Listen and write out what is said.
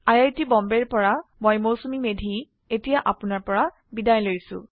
I I T Bombay ৰ পৰা মই মৌচুমী মেধী এতিয়া আপুনাৰ পৰা বিদায় লৈছো